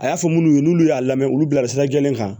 A y'a fɔ minnu ye n'olu y'a lamɛn olu bila sira jɛlen kan